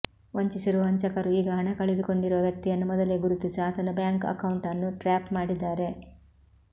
ವಂಚಿಸಿರುವ ವಂಚಕರು ಈಗ ಹಣ ಕಳೆದುಕೊಂಡಿರುವ ವ್ಯಕ್ತಿಯನ್ನು ಮೊದಲೇ ಗುರುತಿಸಿ ಆತನ ಬ್ಯಾಂಕ್ ಅಕೌಂಟ್ ಅನ್ನು ಟ್ರ್ಯಾಪ್ ಮಾಡಿದ್ದಾರೆ